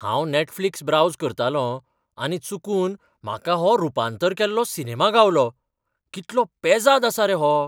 हांव Netflix browse करतालों आनी चुकून म्हाका हो रुपांतर केल्लो सिनेमा गावलो. कितलो पेझाद आसा रे हो!